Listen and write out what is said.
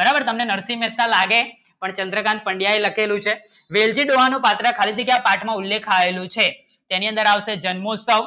બરાબર તમને નરસિંહ એટલા લાગે પણ ચંદ્રકાન્ત પંડ્યા લખેલું છે વેલદીદ વાળ નું પાઠ્ય ના ઉલ્લેખ આવેલું છે જિનેન્દ્ર રાવ થી જન્મોત્સવ